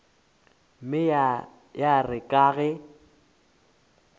mme ya re ka ge